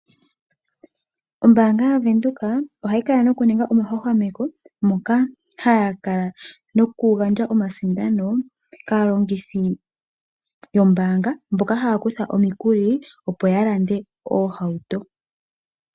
Ombaanga yavenduka ohayi kala nokuninga omahwahwameko moka haya kala nokugandja omasindano kaalongithi yombaanga mboka haya kutha omikuli opo ya lande oohauto.